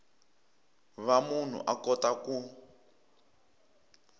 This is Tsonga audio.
va munhu a kota ku